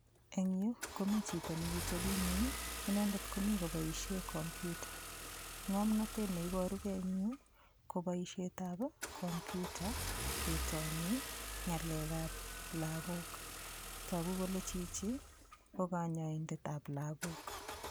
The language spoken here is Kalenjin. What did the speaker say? Eng' yu komi chito nekiteping'weny inendet komi koboishe komputa ng'omnotet neiborugei eng' yu ko boishetab komputa ketoni ng'alekab lakok toku kole chichi ko kanyaidetab lakok